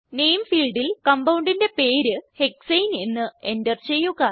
നാമെ ഫീൽഡിൽ compoundന്റെ പേര് ഹെക്സാനെ എന്ന് എന്റർ ചെയ്യുക